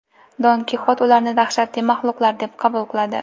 Don Kixot ularni dahshatli mahluqlar deb qabul qiladi.